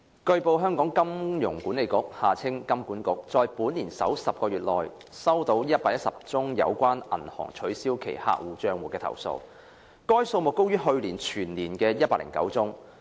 據報，香港金融管理局在本年首10個月內收到117宗有關銀行取消其客戶帳戶的投訴，該數目高於去年全年的109宗。